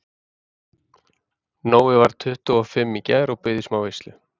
Nói varð tuttugu og fimm í gær og bauð í smá veislu.